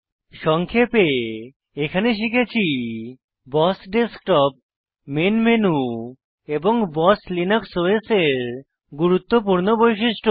সংক্ষেপে এখানে শিখেছি বস ডেস্কটপ মেইন মেনু এবং বস লিনাক্স ওএস এর গুরুত্বপূর্ণ বৈশিষ্ট্য